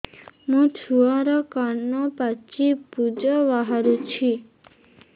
ମୋ ଛୁଆର କାନ ପାଚି ପୁଜ ବାହାରୁଛି